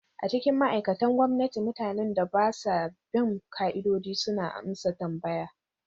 A cikin ma'aikatan gwamnati, mutanen da ba sa bin ƙa'idodi suna amsa tambaya.